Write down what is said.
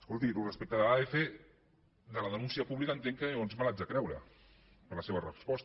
escolti respecte a adf de la denúncia pública entenc que llavors me l’haig de creure per la seva resposta